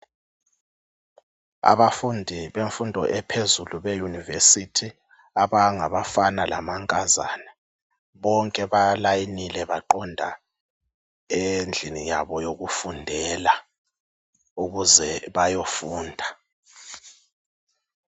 Abafundi bemfundo ephezulu beyunivesithi abangafana lamankazana bonke balayinile baqonda endlini yabo yokufundela ukuze bayofunda.